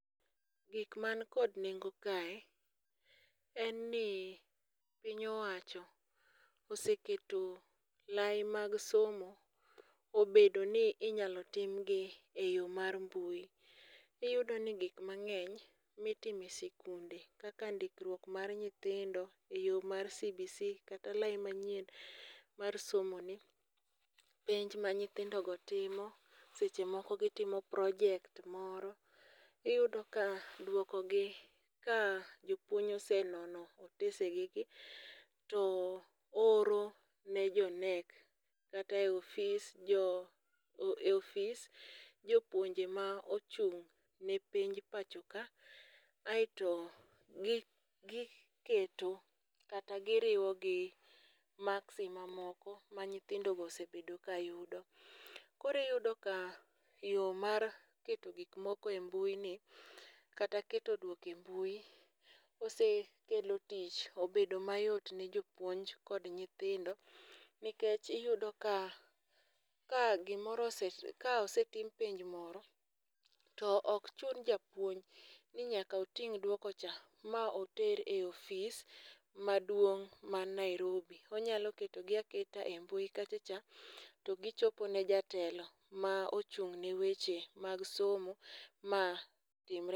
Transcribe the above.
Gik man kod nengo kae en ni piny owacho oseketo olai mag somo obedo ni inyalo timgi e yo mar mbui. Iyudo ni gik mang'eny mitimo e sikunde kaka ndikruok mar nyithindo e yo mar CBC kata olai manyien mar somoni, penj ma nyithindogo timo, seche moko gitimo project moro, iyudo ka dwokogi ka jopuonj osenono otesegigi to ooro ne jo KNEC kata e ofis jopuonje ma ochung'ne penj pachoka, aeto giketo kata giriwogi maksi mamoko ma nyithindogo osebedo ka yudo. koro iyudo ka yo mar keto gik moko e mbuini kata keto dwoko e mbui osekelo tich obedo mayot ne jopuonj kod nyithindo nikech iyudo ka, ka osetim penj moro to ok chun japuonj ni nyaka oting' dwokocha ma oter e ofis maduong' man Nairobi, onyalo ketogi aketa e mbui kachacha to gichopo ne jatelo ma ochung'ne weche mag somo ma timre